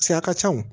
Cɛ a ka ca o